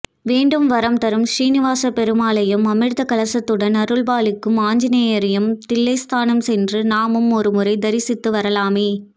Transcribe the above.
வேண்டும் வரம் தரும் சீனிவாசப்பெருமாளையும் அமிர்த கலசத்துடன் அருள்பாலிக்கும் ஆஞ்சநேயரையும் தில்லைஸ்தானம் சென்று நாமும் ஒரு முறை தரிசித்து வரலாமே